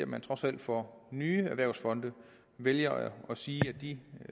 man trods alt for nye erhvervsfonde vælger at sige at de